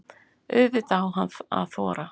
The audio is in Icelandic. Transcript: Auðvitað á hann að þora.